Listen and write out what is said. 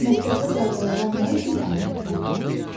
Məktəbdə qaydalara nə üçün əməl etmək lazımdır?